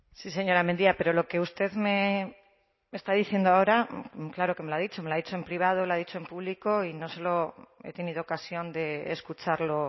sí señora mendia pero lo que usted me está diciendo ahora claro que me lo ha dicho me lo ha dicho en privado lo ha dicho en público y no solo he tenido ocasión de escucharlo